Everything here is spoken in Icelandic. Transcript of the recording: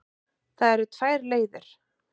Það eru tvær leiðir.